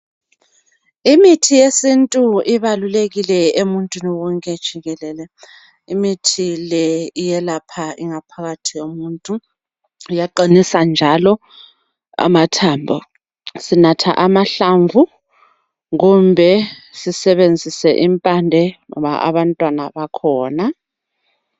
Imithi yesintu ibalulekile emuntwini wonke jikelele imithi le iyelapha ingaphakathi yomuntu iyaqinisa njalo amathambo sinatha amahlamvu kumbe sisebenzise impande kumbe abantwana bakhona